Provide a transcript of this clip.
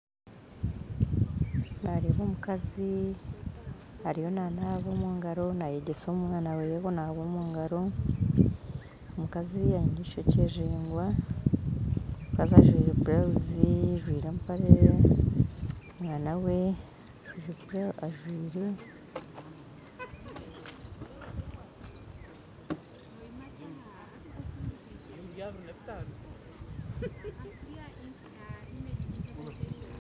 Nareeba omukazi ariyo nanaba omungaro nayegyesa omwaana weye kunaaba omungaro omukazi aine eishokye riringwa omukazi ajwire burawuzi ajwire empare omwaana we ajwire